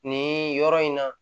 Nin yɔrɔ in na